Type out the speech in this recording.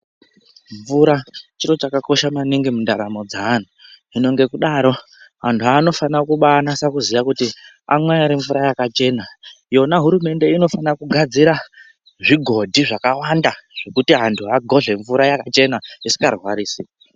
Mvura chiro chakakosha maningi mundaramo dzeanhu. Hino ngekudaro anhu anofana kubanasa kuziya kuti amwa ere mvura yakachena. Yona hurumende inofana kugadzira zvigodhi zvakawanda zvekuti antu agoje mvura yakachena isikarwarisi.